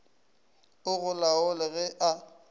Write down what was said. o go laole ge a